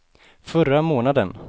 förra månaden